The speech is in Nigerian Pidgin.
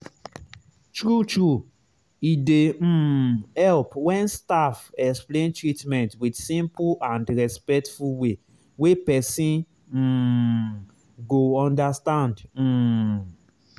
true true e dey um help when staff explain treatment with simple and respectful way wey person um go understand. um